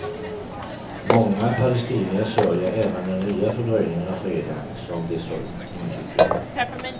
Många palestinier sörjer även den nya fördröjningen av freden, som de så innerligt behöver.